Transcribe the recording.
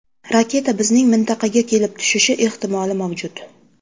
Raketa bizning mintaqaga kelib tushishi ehtimoli mavjud.